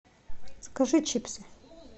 закажи чипсы